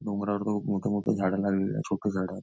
डोंगरावर खुप मोठी मोठी झाड लागलेली आहे छोटी झाड.